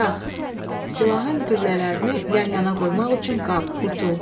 Daraq, silahın güllələrini yan-yana qoymaq üçün qab, qutu.